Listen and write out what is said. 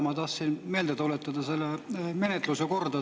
Ma tahtsin meelde tuletada selle menetluse korda.